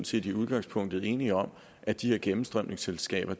set i udgangspunktet enige om at de her gennemstrømningsselskaber